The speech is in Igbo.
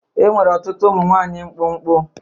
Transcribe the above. Enwere ọtụtụ ụmụ nwanyị mkpụmkpụ.